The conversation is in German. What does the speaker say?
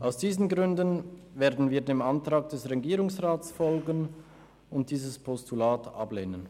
Aus diesen Gründen werden wir dem Antrag des Regierungsrats folgen und dieses Postulat ablehnen.